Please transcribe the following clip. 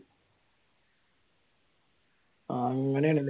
അങ്ങനെയാണല്ലേ?